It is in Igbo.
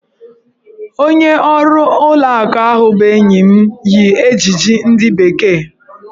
Onye ọrụ ụlọ akụ ahụ bụ enyi m yi ejiji ndị bekee.